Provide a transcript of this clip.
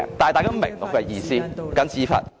但大家明白我的意思。